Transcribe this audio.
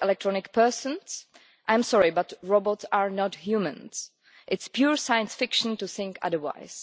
electronic persons' I am sorry, but robots are not humans, it is pure science fiction to think otherwise.